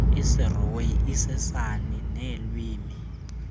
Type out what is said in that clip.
isirhoyi isisan neelwimi